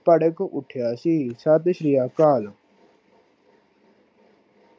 ਪੜਕ ਉਠਿਆ ਸੀ। ਸਤਿ ਸ਼੍ਰੀ ਅਕਾਲ